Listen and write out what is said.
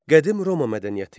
Qədim Roma mədəniyyəti.